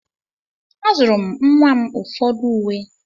Azụụrụ m nwa m ụfọdụ uwe.